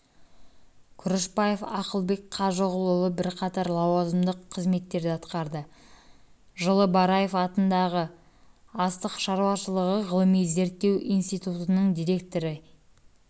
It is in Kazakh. күрішбаев ақылбек қажығұлұлы бірқатар лауазымдық қызметтерді атқарды жылы бараев атындағы астық шаруашылығы ғылыми-зерттеу институтының директоры екі